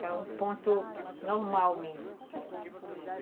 Que é um ponto normal mesmo.